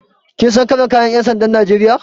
Kin san kalar kayan ƴan sandan Najeriya.